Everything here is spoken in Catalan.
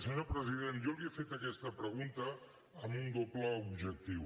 senyor president jo li he fet aquesta pregunta amb un doble objectiu